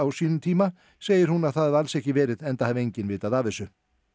sínum tíma segir hún að það hafi alls ekki verið enda hafi enginn vitað af þessu